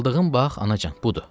Aldığım bax, anacan, budur.